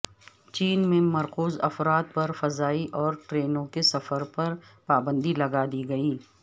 چین میں مقروض افراد پر فضائی اور ٹرینوں کے سفر پر پابندی لگا دی گئی